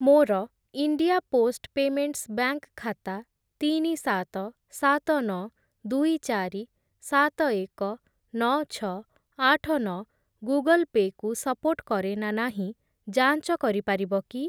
ମୋର India post payments bank ଖାତା ତିନି, ସାତ, ସାତ, ନଅ, ଦୁଇ, ଚାରି, ସାତ, ଏକ, ନଅ, ଛଅ, ଆଠ, ନଅ ଗୁଗଲ୍ ପେ କୁ ସପୋର୍ଟ କରେ ନା ନାହିଁ ଯାଞ୍ଚ କରିପାରିବ କି?